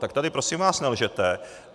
Tak tady prosím vás nelžete.